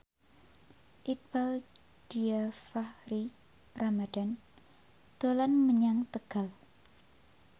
Iqbaal Dhiafakhri Ramadhan dolan menyang Tegal